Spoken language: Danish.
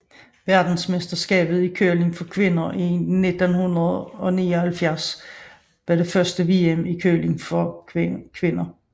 Verdensmesterskabet i curling for kvinder 1979 var det første VM i curling for kvinder